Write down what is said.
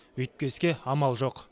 өйтпеске амал жоқ